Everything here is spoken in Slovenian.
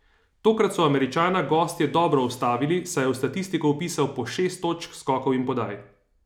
Tokrat so Američana gostje dobro ustavili, saj je v statistiko vpisal po šest točk, skokov in podaj.